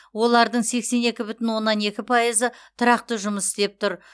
олардың сексен екі бүтін оннан екі пайызы тұрақты жұмыс істеп тұр